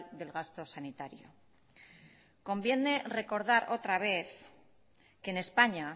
del gasto sanitario conviene recordar otra vez que en españa